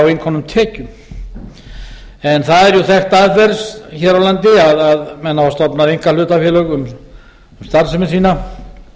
innkomnum tekjum það er jú þekkt aðferð hér á landi að menn hafa stofnað einkahlutafélög um starfsemi sína